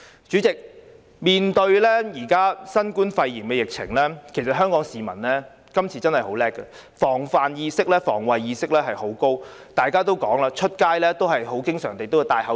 主席，面對現時新冠肺炎疫情，今次香港市民真的很了不起，防範或防衞意識非常高，外出經常佩戴口罩。